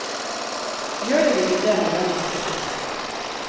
Gjør den ikke det, må lønnen settes opp.